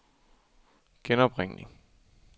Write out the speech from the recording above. genopringning